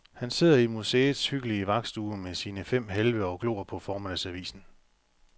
Han sidder i museets hyggelige vagtstue med sine fem halve og glor på formiddagsavisen.